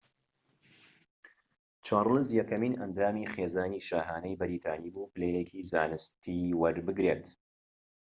چارلز یەکەمین ئەندامی خێزانی شاهانەی بەریتانی بوو پلەیەکی زانستی وەربگرێت